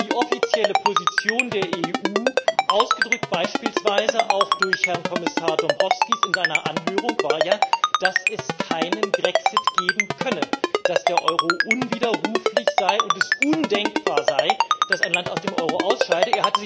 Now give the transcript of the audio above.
Denn die offizielle Position der EU, ausgedrückt beispielsweise auch durch Herrn Kommissar Dombrovskis in seiner Anhörung, war ja, dass es keinen Grexit geben könne, dass der Euro unwiderruflich sei und es undenkbar sei, dass ein Land aus dem Euro ausscheide.